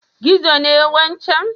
Gizo ne wancan?